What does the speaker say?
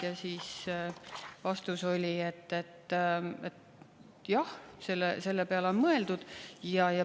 Ja vastus oli, et, jah, selle peale on mõeldud.